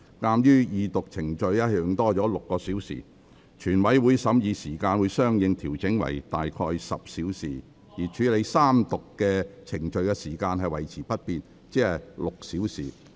鑒於二讀程序多用了6小時，全委會審議時間會相應調整為約10小時，而處理三讀程序的時間維持不變，即6小時。